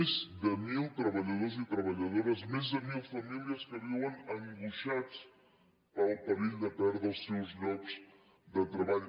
més de mil treballadors i treballadores més de mil famílies que viuen angoixats pel perill de perdre els seus llocs de treball